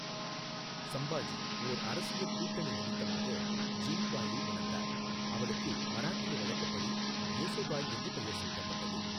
சம்பாஜி ஓர் அரசியல் கூட்டணி நிமித்தமாக ஜிவுபாயை மணந்தார், அவளுக்கு மராட்டிய வழக்கப்படி யேசுபாய் என்று பெயர் சூட்டப்பட்டது.